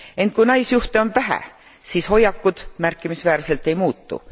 Ent kui naisjuhte on vähe, siis hoiakud märkimisväärselt ei muutu.